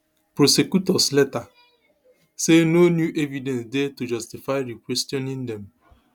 prosecutors later say no new evidence dey to justify requestioning dem